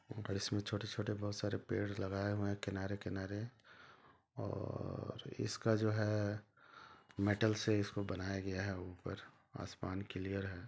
और इसमें छोटे-छोटे बहुत सारे पेड़ लगाए हुए है किनारे-किनारे और इसका जो है मेटल्स से इसको बनाया गया है ऊपर आसमान क्लियर है।